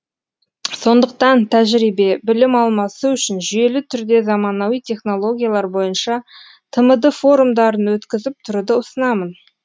сондықтан тәжірибе білім алмасу үшін жүйелі түрде заманауи технологиялар бойынша тмд форумдарын өткізіп тұруды ұсынамын